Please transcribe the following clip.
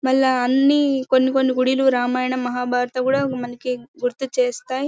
మళ్ళా అని కొని కొని గుడిలో రామాయణం మహాభారత కూడా మనకి గుర్తు చేస్తాయి.